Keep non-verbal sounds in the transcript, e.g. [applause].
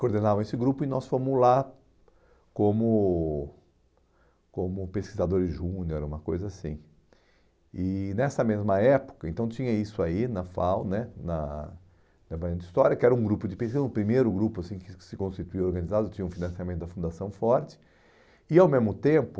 coordenavam esse grupo e nós fomos lá como como pesquisadores júnior era uma coisa assim e nessa mesma época então tinha isso aí na FAU né na [unintelligible] na história que era um grupo de pesquisa, o primeiro grupo assim que se constituiu organizado tinha um financiamento da fundação forte e ao mesmo tempo